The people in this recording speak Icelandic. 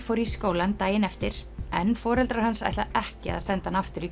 fór í skólann daginn eftir en foreldrar hans ætla ekki að senda hann aftur í